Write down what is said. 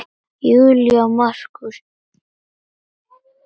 Júlía og Markús.